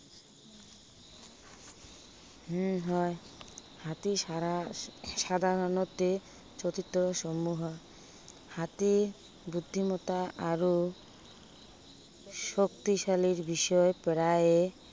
উম হয়। হাতীৰ সাৰা, সাধাৰণতে অতি চতুৰ হয়। হাতীৰ বুদ্ধিমত্তা আৰু শক্তিশালী দিশত প্ৰায়ে